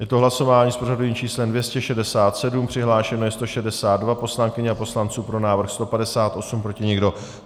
Je to hlasování s pořadovým číslem 267, přihlášeno je 162 poslankyň a poslanců, pro návrh 158, proti nikdo.